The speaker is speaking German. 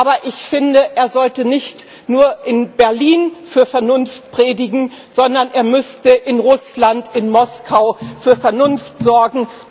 Aber ich finde, er sollte nicht nur in Berlin Vernunft predigen, sondern er müsste in Russland, in Moskau für Vernunft sorgen.